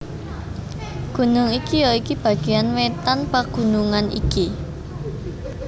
Gunung iki ya iku bagéan wétan pagunungan iki